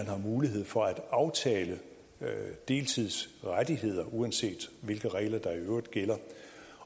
har mulighed for at aftale deltidsrettigheder uanset hvilke regler der i øvrigt gælder